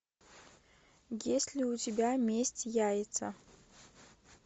есть ли у тебя месть яйца